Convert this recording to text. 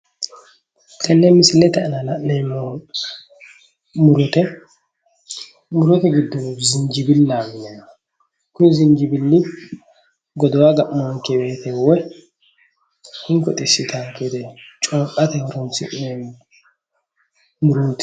Tene misilete aana la'neemmohu murote, murote giddonno Zijibilaho yinanniho kuni zijibili godowa ga'manonke woyte woyi hinko xisittanonke woyte corqate horonsi'neemmo muroti